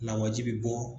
Lawaji bi bɔ